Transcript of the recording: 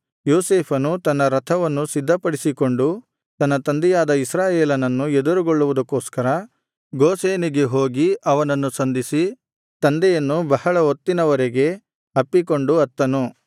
ಯೋಸೇಫನು ತನ್ನ ರಥವನ್ನು ಸಿದ್ಧಪಡಿಸಿಕೊಂಡು ತನ್ನ ತಂದೆಯಾದ ಇಸ್ರಾಯೇಲನನ್ನು ಎದುರುಗೊಳ್ಳುವುದಕ್ಕೋಸ್ಕರ ಗೋಷೆನಿಗೆ ಹೋಗಿ ಅವನನ್ನು ಸಂಧಿಸಿ ತಂದೆಯನ್ನು ಬಹಳ ಹೊತ್ತಿನ ವರೆಗೆ ಅಪ್ಪಿಕೊಂಡು ಅತ್ತನು